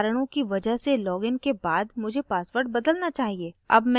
यह कहता है security कारणों की वजह से login के बाद मुझे password बदलना चाहिए